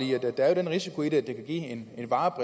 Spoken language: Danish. de varer